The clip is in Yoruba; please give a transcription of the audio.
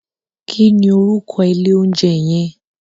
Kí ni orúkọ ilé oúnjẹ yẹn?